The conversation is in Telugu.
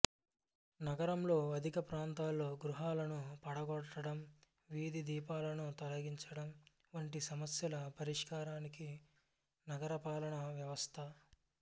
నగరంలో అధిక ప్రాంతంలో గృహాలను పడగొట్టడం వీధి దీపాలను తొలగించడం వంటి సమస్యల పరిష్కారానికి నగరపాలన వ్యవస్థ